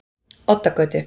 Oddagötu